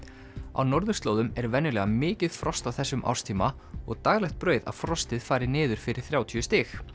á norðurslóðum er venjulega mikið frost á þessum árstíma og daglegt brauð að frostið fari niður fyrir þrjátíu stig